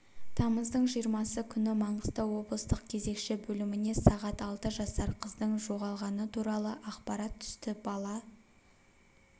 тамыздың жиырмасы күні маңғыстау облыстық кезекші бөліміне сағат алты жасар қыздың жоғалғаны туралы ақпарат түсті бала